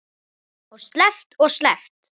Og sleppt og sleppt.